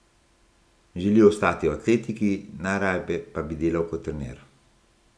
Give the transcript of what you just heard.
Želi ostati v atletiki, najraje pa bi delal kot trener.